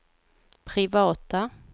privata